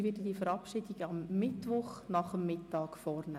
Ich werde die Verabschiedung am Mittwoch nach dem Mittag vornehmen.